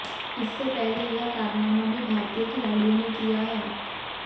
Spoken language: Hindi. इससे पहले यह कारनामा भी भारतीय खिलाड़ियों ने किया है